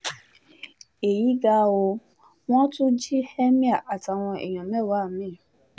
èyí ga o wọ́n tún jí emir àtàwọn èèyàn mẹ́wàá mi